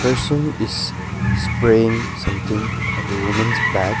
person is spraying something on the women's bag.